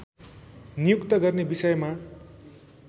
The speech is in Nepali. नियुक्त गर्ने विषयमा